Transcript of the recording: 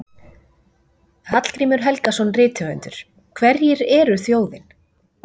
Hallgrímur Helgason, rithöfundur: Hverjir eru þjóðin?